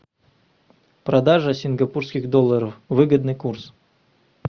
продажа сингапурских долларов выгодный курс